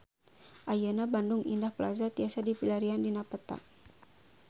Ayeuna Bandung Indah Plaza tiasa dipilarian dina peta